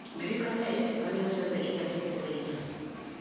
ndirikania iririkania ciothe iria cietereire